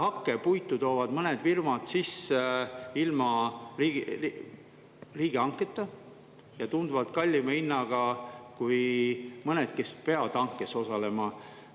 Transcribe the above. Hakkepuitu toovad mõned firmad sisse ilma riigihanketa ja tunduvalt kallima hinnaga kui mõned teised, kes peavad hankes osalema.